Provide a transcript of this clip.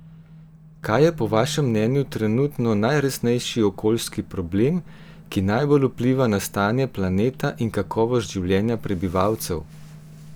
Kaj je po vašem mnenju trenutno najresnejši okoljski problem, ki najbolj vpliva na stanje planeta in kakovost življenja prebivalcev?